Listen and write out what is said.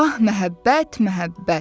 Ah, məhəbbət, məhəbbət.